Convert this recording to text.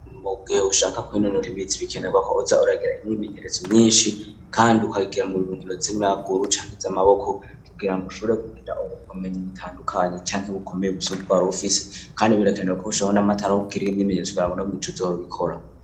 Mugihe ushaka kwinonora imitsi bikenerwa ko uza uragira imyimenyerezo myishi kandi ukabigira mu nkino zamaguru canke izamaboko kugirango ushubore kugira ubumenyi butandukanye canke bukomeye busumba ubwa warufise kandi birekanerwa ko ushiraho n'amatara kugira iyo myimenyerezo kugirango no mwijoro uzohore ubikora.